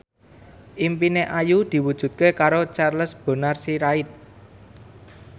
impine Ayu diwujudke karo Charles Bonar Sirait